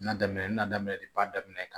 N'a daminɛ na daminɛ de ba daminɛ ka